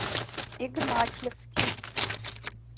игнатьевский